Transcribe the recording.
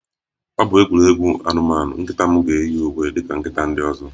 Ọ bụ egwuregwu anụmanụ, nkịta m ga-eyi uwe dị ka nkịta ndị ọzọ